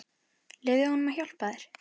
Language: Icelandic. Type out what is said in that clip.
Leyfðu honum að hjálpa þér.